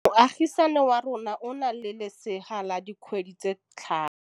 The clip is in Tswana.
Moagisane wa rona o na le lesea la dikgwedi tse tlhano.